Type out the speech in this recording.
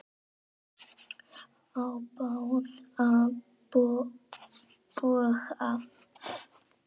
Á báða bóga.